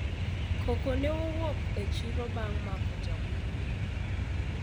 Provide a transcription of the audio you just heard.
koko ne owuok e chiro bang' mako jakuwo